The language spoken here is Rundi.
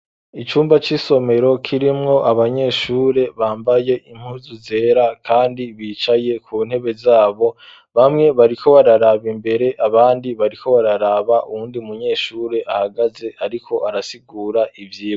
Icumba c'isomero kirimwo abanyeshure bambaye impuzu zera kandi bicaye ku ntebe zabo. Bamwe bariko bararaba imbere abandi bariko bararaba uwundi munyeshuri ahagaze ariko arasigura ivyigwa.